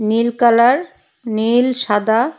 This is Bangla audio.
নীল কালার নীল সাদা।